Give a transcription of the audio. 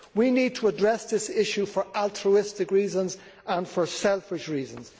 We need to address this issue for altruistic reasons and for selfish reasons.